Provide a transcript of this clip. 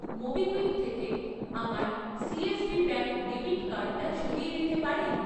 MobiKwik থেকে আমার CSB bank debit কার্ডটা সরিয়ে দিতে পারেন?